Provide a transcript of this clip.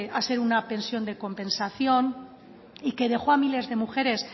a ser una pensión de compensación y que dejó a miles de mujeres